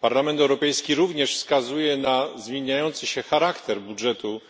Parlament Europejski również wskazuje na zmieniający się charakter budżetu